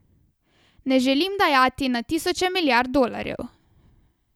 Ne želim dajati na tisoče milijard dolarjev.